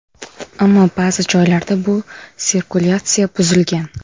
Ammo ba’zi joylarda bu sirkulyatsiya buzilgan.